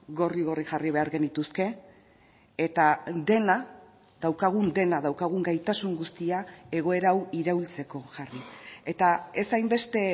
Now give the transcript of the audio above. gorri gorri jarri behar genituzke eta dena daukagun dena daukagun gaitasun guztia egoera hau iraultzeko jarri eta ez hainbeste